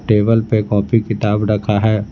Table पे coffee किताब रखा है।